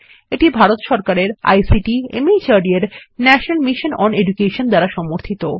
এটি ভারত সরকারের ICT MHRD এর ন্যাশনাল মিশন ওন এডুকেশন দ্বারা সমর্থিত